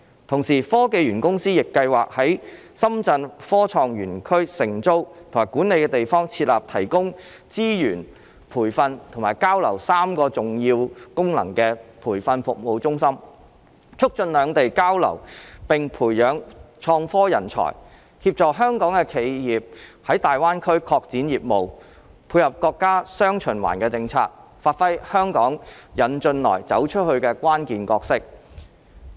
同時，科技園公司亦計劃在深圳科創園區承租及管理的地方設立提供資源、培訓以及交流3個重要功能的培訓服務中心，促進兩地交流並培養創科人才，協助香港的企業在大灣區拓展業務，配合國家"雙循環"的政策，發揮香港"引進來"、"走出去"的關鍵角色。